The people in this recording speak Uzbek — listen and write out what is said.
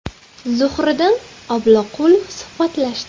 Zuhriddin Obloqulov suhbatlashdi.